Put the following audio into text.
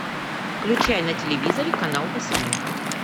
включай на телевизоре канал восьмой